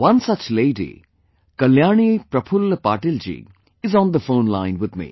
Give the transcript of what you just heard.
One such lady, Kalyani Prafulla Patil ji is on the phone line with me